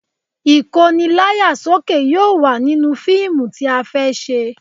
Ìkóni láyà sókè yóò wà nínú fíìmù tí a fẹ́ ṣe